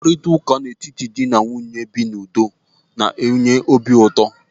Mkparịtaụka n'etiti dị na nwunye na-ebi na udo na-enye obi ụtọ.